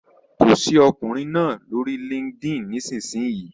Kọ sí ọkùnrin náà lórí LinkedIn nísinsìnyí!